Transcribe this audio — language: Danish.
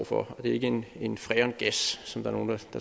for og det er ikke en en freongas som nogle